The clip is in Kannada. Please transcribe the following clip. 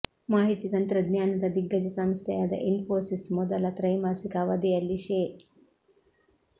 ಮಾಹಿತಿ ತಂತ್ರಜ್ಞಾನದ ದಿಗ್ಗಜ ಸಂಸ್ಥೆಯಾದ ಇನ್ಫೋಸಿಸ್ ಮೊದಲ ತ್ರೈಮಾಸಿಕ ಅವಧಿಯಲ್ಲಿ ಶೇ